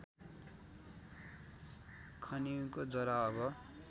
खनिउको जरा अब